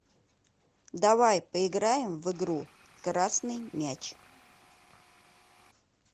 давай поиграем в игру красный мяч